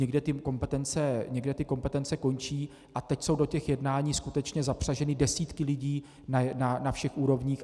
Někde ty kompetence končí a teď jsou do těch jednání skutečně zapřaženy desítky lidí na všech úrovních.